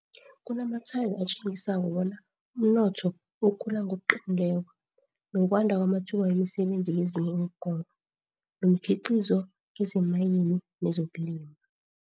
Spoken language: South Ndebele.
Kunamatshwayo atjengisako bona umnotho ukhula ngokuqinileko, nokwanda kwamathuba wemisebenzi kezinye iinkoro, nomkhiqizo kezemayini nezokulima.